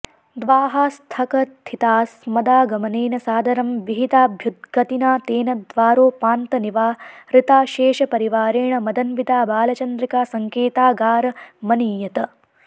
द्वाःस्थकथितास्मदागमनेन सादरं विहिताभ्युद्गतिना तेन द्वारोपान्तनिवारिताशेषपरिवारेण मदन्विता बालचन्द्रिका सङ्केतागारमनीयत